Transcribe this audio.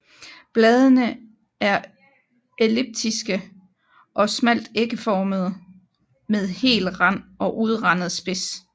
Bladene er elliptiske eller smalt ægformede med hel rand og udrandet spids